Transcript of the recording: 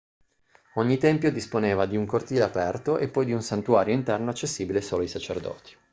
ogni tempio disponeva di un cortile aperto e poi di un santuario interno accessibile solo ai sacerdoti